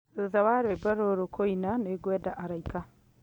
thutha wa rwĩmbo rũrũ kũina nĩ ngwenda araika